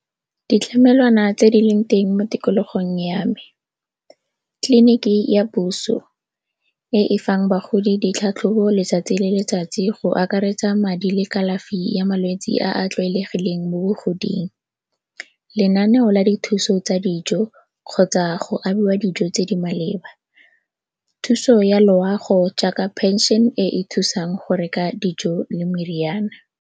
Ditlamelwana tse di leng teng mo tikologong ya me, tleliniki ya puso e e fang bagodi ditlhatlhobo letsatsi le letsatsi go akaretsa madi le kalafi ya malwetse a a tlwaelegileng mo bogoding. Lenaneo la dithuso tsa dijo kgotsa go abiwa dijo tse di maleba, thuso ya loago jaaka pension e e thusang go reka dijo le meriana.